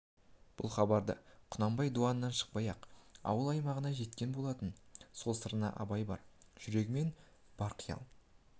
бұл хабары да құнанбай дуаннан шықпай-ақ ауыл-аймағына жеткен болатын сол сырына абай бар жүрегімен бар қиял